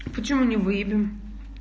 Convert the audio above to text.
почему не выявлен